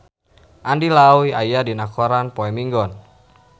Andy Lau aya dina koran poe Minggon